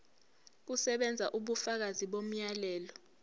kusebenza ubufakazi bomyalelo